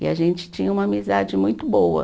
E a gente tinha uma amizade muito boa.